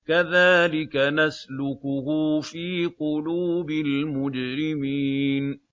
كَذَٰلِكَ نَسْلُكُهُ فِي قُلُوبِ الْمُجْرِمِينَ